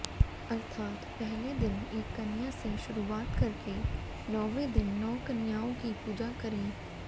अर्थात् पहले दिन एक कन्या से शुरुआत करके नौवें दिन नौ कन्याओं की पूजा करें